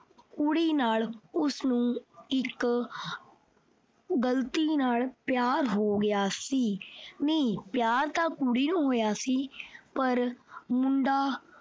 ਕੁੜੀ ਨਾਲ ਉਸਨੂੰ ਗਲਤੀ ਨਾਲ ਪਿਆਰ ਹੋ ਗਿਆ ਸੀ। ਨਹੀਂ ਪਿਆਰ ਤਾਂ ਕੁੜੀ ਨੂੰ ਹੋਇਆ ਸੀ ਪਰ ਮੁੰਡਾ